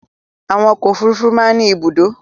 Àwọn ọkọ̀ òfurufú máa ń ní ibùdó.